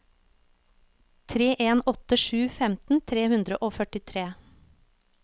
tre en åtte sju femten tre hundre og førtitre